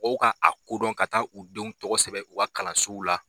Mɔgɔw ka a dɔn ka taa u denw tɔgɔ sɛbɛn u ka kalanso la.